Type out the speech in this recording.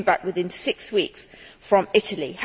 He came back within six weeks, from Italy.